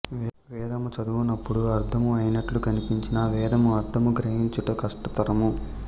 వేదము చదువునప్పుడు అర్ధము అయినట్లు కనిపించినా వేదము అర్ధము గ్రహించుట కష్ట తరము